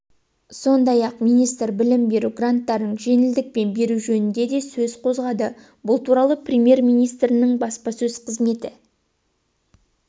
сондай-ақ министр білім беру гранттарын жеңілдікпен беру жөнінде де сөз қозғады бұл туралы премьер-министрінің баспасөз қызметі